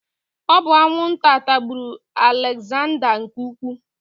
Ọ bụ anwụnta tagburu Alegzanda nke Ukwuu.